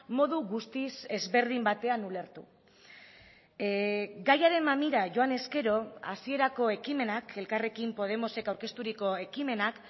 modu guztiz ezberdin batean ulertu gaiaren mamira joan ezkero hasierako ekimenak elkarrekin podemosek aurkezturiko ekimenak